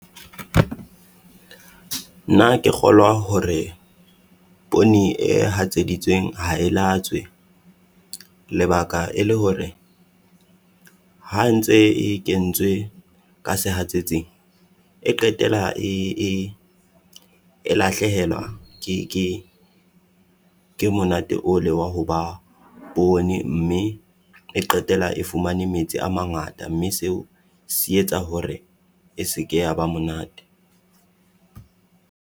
Nna ke kgolwa hore poone hatseditsweng ha e laetswe, lebaka e le hore ha ntse e kentswe ka se hatsetsing e qetela e lahlehelwa ke ke ke monate o le wa ho ba poone, mme qetela e fumane metsi a mangata, mme seo se etsa hore e se ke ya ba monate.